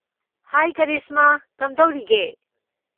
ꯍꯥꯏ ꯀꯔꯤꯁꯃꯥ, ꯀꯝꯗꯧꯔꯤꯒꯦ?